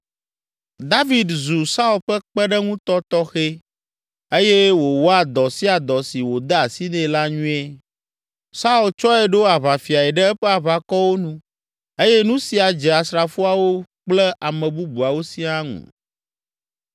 David zu Saul ƒe kpeɖeŋutɔ tɔxɛ eye wòwɔa dɔ sia dɔ si wòde asi nɛ la nyuie. Saul tsɔe ɖo aʋafiae ɖe eƒe aʋakɔwo nu eye nu sia dze asrafoawo kple ame bubuawo siaa ŋu.